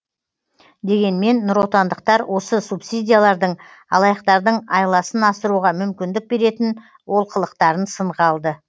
дегенмен нұротандықтар осы субсидиялардың алаяқтардың айласын асыруға мүмкіндік беретін олқылықтарын сынға алды